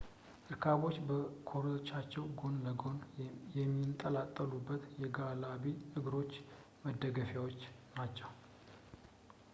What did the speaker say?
እርካቦች በኮርቻው ጎን እና ጎን ለሚንጠለጠሉት የጋላቢ እግሮች መደገፊያ ናቸው